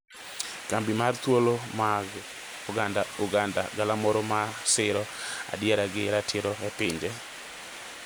Kambi mar Thuolo mag Oganda - Uganda, galamoro ma siro adiera gi ratiro e pinje